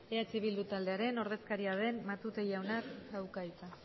eh bildu taldearen ordezkaria den matute jaunak dauka hitza